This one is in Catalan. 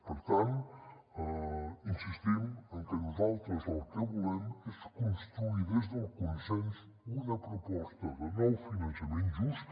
per tant insistim en que nosaltres el que volem és construir des del consens una proposta de nou finançament just